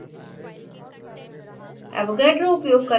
vitamin b12